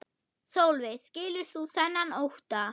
Sólveig: Skilur þú þennan ótta?